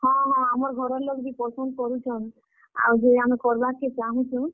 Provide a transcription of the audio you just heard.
ହଁ ହଁ, ଆମର୍ ଘରର୍ ଲୋକ୍ ବି ପସନ୍ଦ କରୁଛନ୍। ଆଉ ଯେ, ଆମେ କର୍ ବାର୍ କେ ଚାହୁଁଛୁଁ।